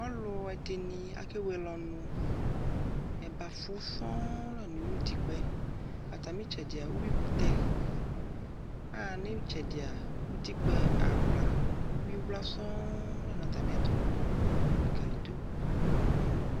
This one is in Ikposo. ɔlʋ ɛdini akɛ wɛlɛ ɔnʋ, ɛbaƒʋ sɔɔ lanʋ ʋtikpaɛ, atami itsɛdi ʋwi kʋtɛ, aha nʋ itsɛdia ʋtikpa awla ʋwi wla sɔɔ lanʋ atami ɛtʋ ɛlikaliyi dʋ abʋɛ nʋ ɔmʋ